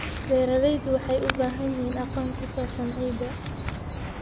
Beeralayda waxay u baahan yihiin aqoon ku saabsan ciidda.